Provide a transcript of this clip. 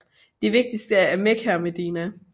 De vigtigste er Mekka og Medina